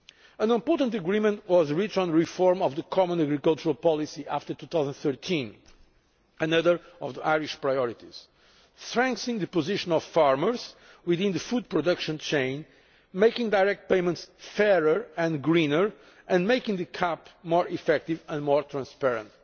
An important agreement was reached on the reform of the common agricultural policy after 2013 which was another of the Irish priorities strengthening the position of farmers within the food production chain, making direct payments fairer and greener and making the CAP more effective and more transparent.